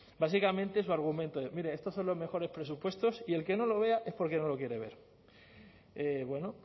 básicamente su argumento es mire estos son los mejores presupuestos y el que no lo vea es porque no lo quiere ver bueno